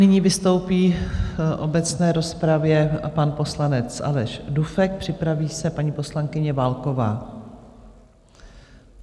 Nyní vystoupí v obecné rozpravě pan poslanec Aleš Dufek, připraví se paní poslankyně Válková.